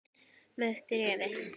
Með bréfi.